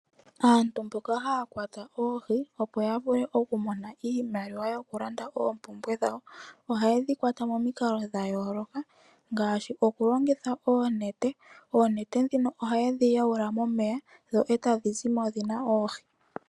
Aantu mboka haya kwata oohi, opo ya mone iimaliwa yo kukandula po oompumbwe dhawo oha yedhi kwata momikalo dha yooloka ngaashi okulongitha oonete ndhono haya wayula momeya etadhi zimo noohi.